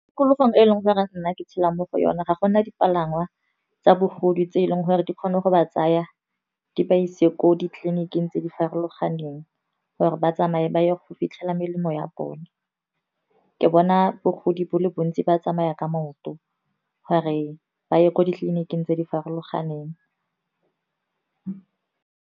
Tikologong e e leng gore nna ke tshela mo go yone, ga gona dipalangwa tsa bagodi, tse e leng gore di kgone go ba tsaya di ba ise ko ditleliniking tse di farologaneng. Gore ba tsamaye ba ye go fitlhelela melemo ya bone, ke bona bogodi bo le bontsi ba tsamaya ka maoto, gore ba ye ko ditleliniking tse di farologaneng.